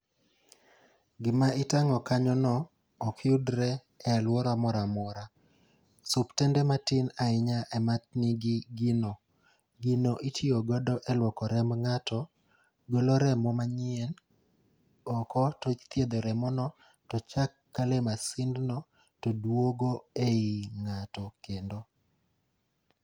Gima itang'o kanyo no ok yudre e alwora mora mora. Suptende mati ahinya ema nigi gino, gino itiyo godo e lwoko remb ng'ato. Golo remo manyien oko to ithiedho remo no, to chak kale masind no to dwogo ei ng'ato kendo.